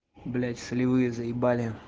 блять солевые заебали